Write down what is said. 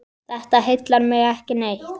Þetta heillar mig ekki neitt.